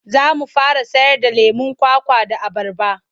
Za mu fara sayarda lemon kwakwa da abarba.